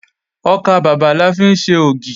Ọkàbàbà la fi ń ṣe ògì